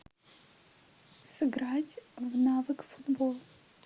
сыграть в навык футбол